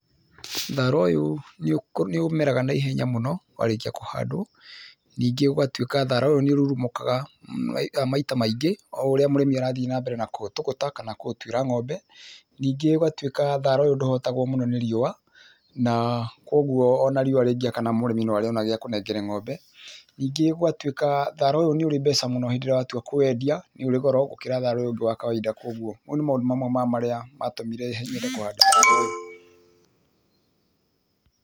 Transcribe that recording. Thara ũyũ nĩũkũ, nĩũmeraga naihenya mũno, warĩkia kũhandũo, ningĩ gũgatuĩka thara ũyũ nĩũrurumũkaga maith, maita maingĩ, oũrĩa mũrĩmi arathiĩ nambere na kũũtũgũta, kana kũũtuĩra ng'ombe, ningĩ ũgatuĩka thara ũyũ ndũhotagũo mũno nĩ riũa, naa kuoguo ona riũa rĩngĩakana mũrĩmi noarĩona gĩa kunengera ng'ombe, ningĩ gũgatuĩka thara ũyũ nĩũrĩ mbeca mũno hĩndĩrĩa watua kũwendia, nĩũrĩ goro gũkĩra thara ũrĩa ũngĩ wa kawaida kuoguo, mau nĩmo mamwe ma maũndũ marĩa, matũmire nyende kũhanda thara ũyũ.